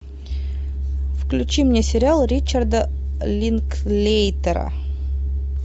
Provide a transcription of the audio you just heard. включи мне сериал ричарда линклейтера